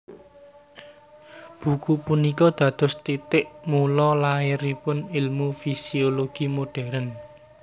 Buku punika dados titik mula lairipun ilmu fisiologi modern